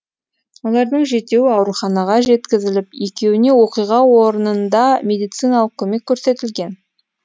олардың жетеуі ауруханаға жеткізіліп екеуіне оқиға орнында медициналық көмек көрсетілген